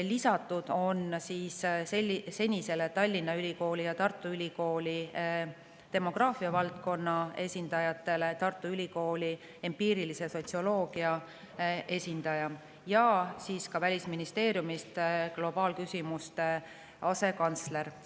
Lisatud on senistele Tallinna Ülikooli ja Tartu Ülikooli demograafiavaldkonna esindajatele Tartu Ülikooli empiirilise sotsioloogia esindaja ja Välisministeeriumist globaalküsimuste asekantsler.